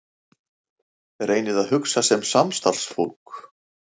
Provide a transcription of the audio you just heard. Reynið að hugsa sem samstarfsfólk.